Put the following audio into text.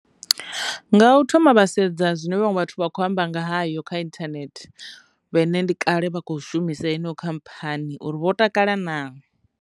Nga u thoma vhasedza zwine vhaṅwe vhathu vha kho amba ngayo kha internet vhe ne ndi kale vha khou shumisa yeneyo khamphani uri vho takala nazwo.